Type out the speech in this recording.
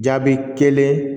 Jaabi kelen